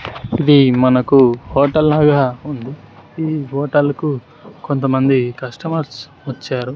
ఇది మనకు హోటల్ లాగా ఉంది ఈ హోటల్కు కొంతమంది కస్టమర్స్ వచ్చారు.